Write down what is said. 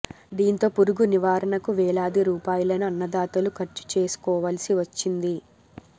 దీంతో పురుగు నివారణకు వేలాది రూపాయలను అన్నదాతలు ఖర్చు చేసుకోవల్సి వచ్చింది